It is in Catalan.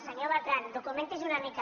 senyor bertran documenti’s una mica